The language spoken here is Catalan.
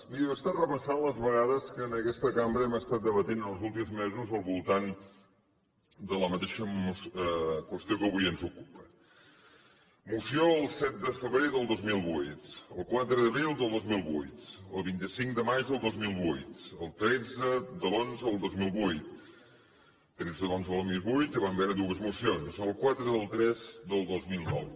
miri jo he estat repassant les vegades que en aquesta cambra hem estat debatent els últims mesos al voltant de la mateixa qüestió que avui ens ocupa moció el set de febrer del dos mil vuit el quatre d’abril del dos mil vuit el vint cinc de maig del dos mil vuit el tretze de l’xi del dos mil vuit tretze de l’xi del dos mil vuit en què van haver hi dues mocions el quatre del iii del dos mil nou